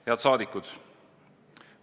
Head saadikud!